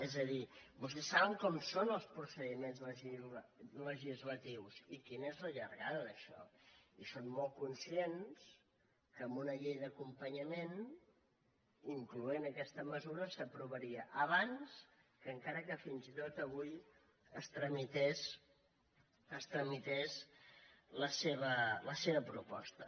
és a dir vostès saben com són els procediments legislatius i quina és la llargada d’això i són molt conscients que amb una llei d’acompanyament incloent hi aquesta mesura s’aprovaria abans que encara que fins i tot avui es tramités la seva proposta